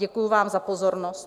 Děkuji vám za pozornost.